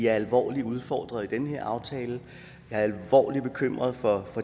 alvorligt udfordret med den her aftale jeg er alvorligt bekymret for